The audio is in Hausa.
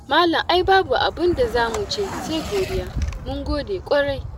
Malam ai babu abin da za mu ce sai godiya, mun gode ƙwarai.